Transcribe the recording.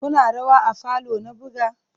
Kuna rawa a falo na buga?